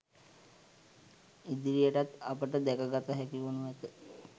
ඉදිරියටත් අපට දැක ගත හැකි වනු ඇත